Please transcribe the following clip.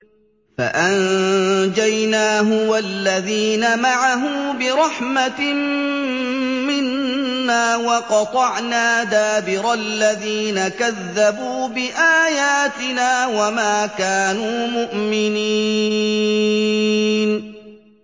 فَأَنجَيْنَاهُ وَالَّذِينَ مَعَهُ بِرَحْمَةٍ مِّنَّا وَقَطَعْنَا دَابِرَ الَّذِينَ كَذَّبُوا بِآيَاتِنَا ۖ وَمَا كَانُوا مُؤْمِنِينَ